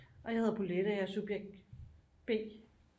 Og jeg hedder Bolette og jeg er subjekt B